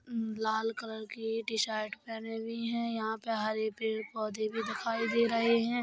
अ लाल कलर की टीशर्ट पहनी हुई है। यहाँ पे हरे पेड़ पौधे भी दिखाई दे रहे हैं।